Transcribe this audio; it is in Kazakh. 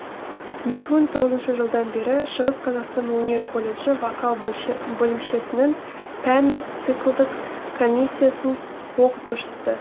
екі мың тоғызыншы жылдан бері шығыс қазақстан өнер колледжі вокал бөлімшесінің пәндік циклдық комиссиясын оқытушысы